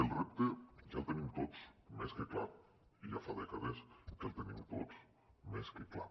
el repte ja el tenim tots més que clar ja fa dècades que el tenim tot més que clar